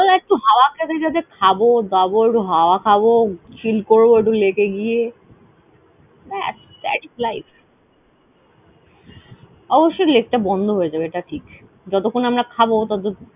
আসলে একটু হাওয়া খেতে খেতে খাবো দাবো। একটু হাওয়া খাবো। chill করবো একটু lake এ গিয়ে। ব্যাস thats life । অবশ্য lake টা বন্ধ হয়ে যাবে এটা ঠিক। যতক্ষণ আমরা খাবো। ততো